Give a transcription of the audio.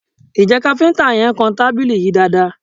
Ǹjẹ́ kafinta yẹn kàn tábìlì yìí dáadaa?